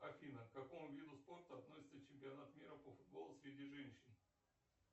афина к какому виду спорта относится чемпионат мира по футболу среди женщин